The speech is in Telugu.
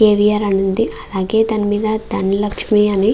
కే. వి. ఆర్ అనునది. అలాగే దాని మీద ధనలక్ష్మి అని --